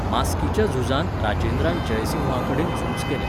मास्कीच्या झुजांत राजेंद्रान जयसिंहाकडेन झूज केलें.